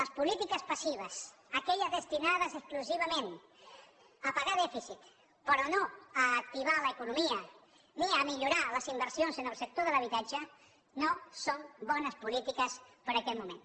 les polítiques passives aquelles destinades exclusivament a pagar dèficit però no a activar l’economia ni a millorar les inversions en el sector de l’habitatge no són bones polítiques per a aquest moment